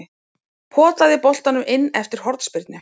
Potaði boltanum inn eftir hornspyrnu.